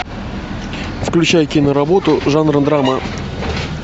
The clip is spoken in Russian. включай киноработу жанра драма